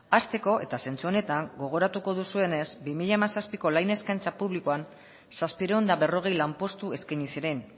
hasteko eta zentzu honetan gogoratuko duzuenez bi mila zazpiko lan eskaintza publikoan zazpiehun eta berrogei lanpostu eskaini zuren